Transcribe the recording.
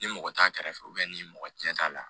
Ni mɔgɔ t'a kɛrɛfɛ ni mɔgɔ cɛn t'a la